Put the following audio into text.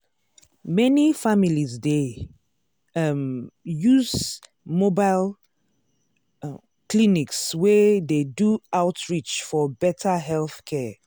many families dey um use mobile um clinics wey dey do outreach for better healthcare.